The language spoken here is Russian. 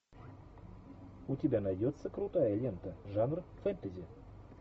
у тебя найдется крутая лента жанр фэнтези